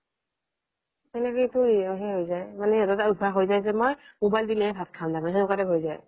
সেনেকেইটো সেই হৈ যাই মানে সিহতৰ এটা অভ্য়াস হৈ যায় যে মোবাইল দিলেহে ভাত খাম সেনেকুৱা type হৈ যায়